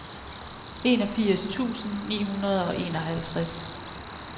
enogfirs tusind ni hundrede og enoghalvtreds